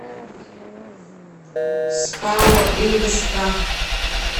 спао ингосстрах